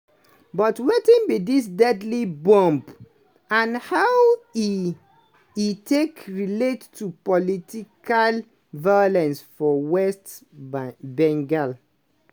but wetin be dis deadly bomb and how e e take relate to political violence for west bengal?